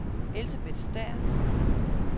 Elsebeth Stæhr